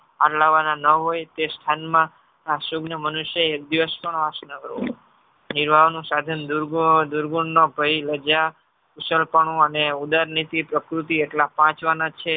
આટલાવાના ન હોય તે સ્થાનમાં આ સુજ્ઞન મનુષ્ય એકદિવશ પણ વાસ ન કરવો દુર્ગુણનો ભય લજા સલપણું અને ઉદરનીટી પ્રકૃતિ એટલા પાંચ વાના છે.